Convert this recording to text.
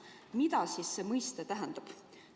" Mida see mõiste tähendab?